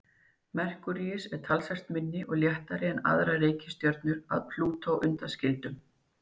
Merkúríus er talsvert minni og léttari en aðrar reikistjörnur að Plútó undanskildum.